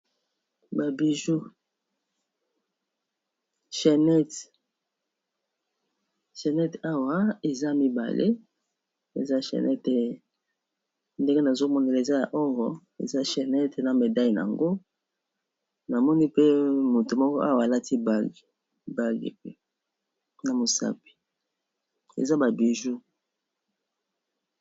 Babiju shannet awa eza mibale eza shannete ndenge nazomonela eza ya oro eza chennet na medaile ,yango namoni pe moto moko awa alati bag na mosapi eza babiju